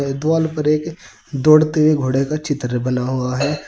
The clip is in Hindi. दिवाल पर एक दौड़ते हुए घोड़े का चित्र बना हुआ है।